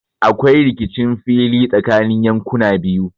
Aƙwai rikicin fili tsakanni yanƙuna biyu.